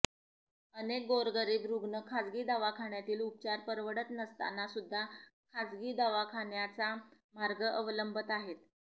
अनेक गोरगरीब रुग्ण खासगी दवाखान्यातील उपचार परवडत नसताना सुद्धा खासगी दवाखान्याचा मार्ग अवलंबत आहेत